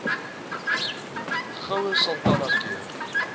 goue sultana keur